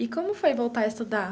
E como foi voltar a estudar?